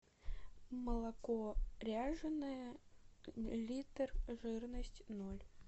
молоко ряженое литр жирность ноль